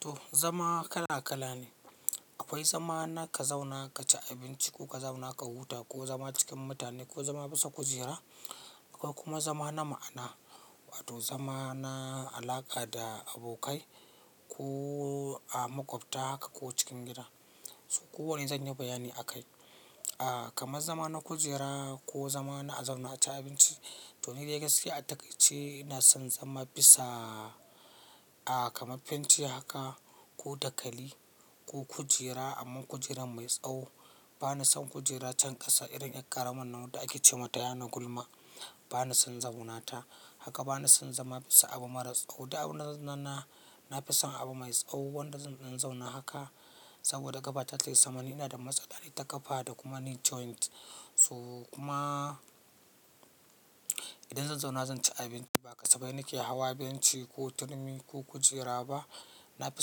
To zama kala kala ne. Akwai zama na ka zauna ka ci abinci ko ka zauna ka huta ko zama cikin mutane ko zama bisa kujera. Akwai kuma zama na ma'ana wato zama na alaƙa da abokai ko a makwabta haka ko cikin gida. So kowanne zan yi bayani a kai. Ah kamar zama na kujera ko zama na a zauna a ci abinci to ni da gaskiya takai ce ina son zama bisa a kama fenti haka ko dakali ko kujera amma kujera mai tsawo. Bana son kujera can ƙasa irin ɗan ƙaramin nan da ake ce mata yana gulma bana son zauna ta. Haka bana son zama bisa abu maras tsawo duk abunda zan zauna, na fison abu mai tsawo wanda zan dan zauna haka saboda gaba tayi sama ina da matsala ita ƙafa da kuma knee joint. So kuma idan zan zauna zan ci abinci ba ƙasafai na ke hawa benci ko turmi ko kujera ba. Na fi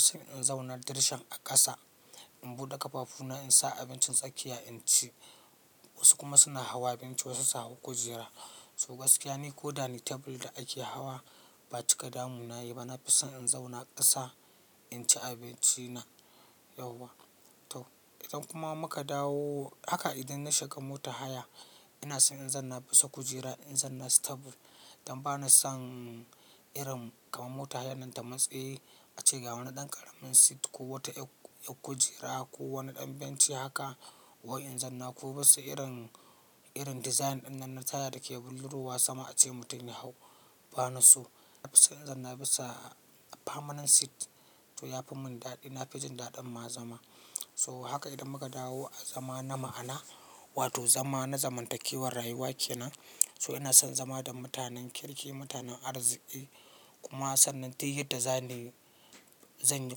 son in zauna dirshan a ƙasa in buɗe ƙafafu na in sa abincin tsakiya in ci. Wasu kuma suna hawa benci wasu su hau kujera. So gaskiya ne ko danin table da ake hawa ba cika damuna yayi ba. Na fi son in zauna ƙasa in ci abinci na yauwa. To idan kuma muka dawo haka idan na shiga mota haya ina son in zan na bisa kujera in zanna stable. Dan bana son irin kamar mota haya nan da matsi a ce ga wani ɗan ƙaramin seat ko wata yar kujera ko wani ɗan benci haka wai in zan na. Ko bisa irin, irin design ɗin nan na taya da ke bulurawa sama a ce mutum ya hau bana so. Na fi son in zan na bisa famanen seat to ya fi mun daɗi. Na fi jin daɗin ma zama. So haka idan muka dawo a zama na ma'ana wato zama na zamantakewar rayuwa ke nan. So ina son zama da mutanen kirki, mutanen arziki kuma sannan ta yadda zan yi zan yi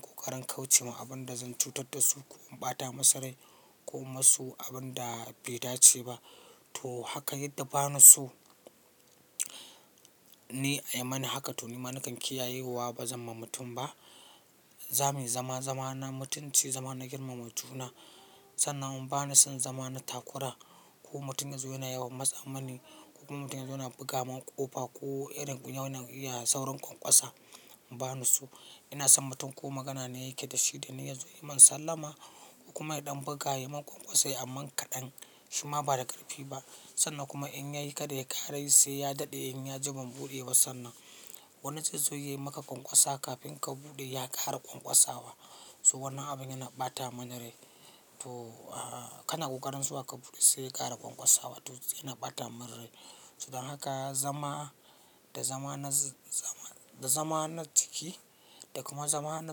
ƙoƙarin kauce ma abun da zan cutar da su ko in ɓata musu rai ko ma su abin da bai dace ba. To haka yadda bana so ni a yi mani haka to ni ma na kan kiyayewa ba zan ma mutum ba. Za mu yi zama, zama na mutunci, zama na girmama juna sannan kuma bana son zama na takura ko mutum yazo yana yawan matsa mani ko kuma mutum yazo yana buga mun ƙofa ko irin kunyayan saurin ƙwanƙwasa bana so. Ina son mutum ko magana ne yake da shi da ni yazo ya yi min sallama kuma ya ɗan buga, ya yi min ƙwaƙwasa amma kaɗan shi ma ba da ƙarfi ba. Sannan kuma in yayi kada ya ƙara yi sai ya daɗe in ya ji banɓude ba sannan wannan zai zo yayi maka ƙwaƙwasa kafin ka buɗe ya ƙara ƙwaƙwasawa. To wannan abin yana ɓata mani rai. To a kan na ƙoƙarin zuwa ka buɗe sai ya ƙara ƙwaƙwasawa to yana ɓata mun rai. So dan haka zama da zama na zama, da zama na ciki da kuma zama na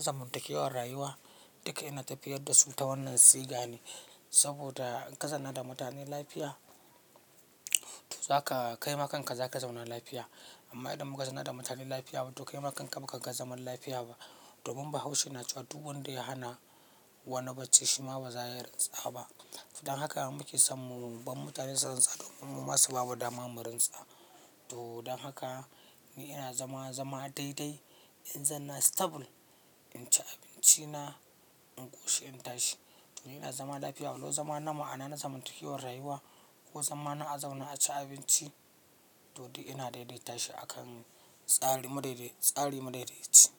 zamantakewar rayuwa duka ina tafiyar da su ta wannan siga ne. Saboda in ka zanna da mutanen lafiya to zaka kai makanka zaka zauna lafiya. Amma idan muka zana da mutanen lafiya wato kai makanka baka ga zaman lafiya ba. Domin bahaushe na cewa duk wanda ya hana wani bacci shi ma ba za ya rintsa ba. Dan haka muke son mu, bar mutane su samu rintsa domin mu ma su bamu dama mu rintsa. To dan haka ni ina zama zama daidai in zanna stable, in ci abinci na, in koshi in tashi. To ni ina zama lafiya walau zama na ma'ana na zamantakewar rayuwa ko zama na a zauna a ci abinci to ni ina daidaita shi a kan tsari, tsari madaidaci.